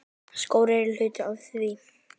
Skór eru hluti af því.